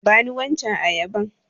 Bani waccen ayabar.